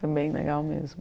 Foi bem legal mesmo.